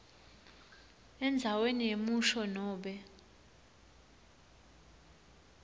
endzaweni yemusho nobe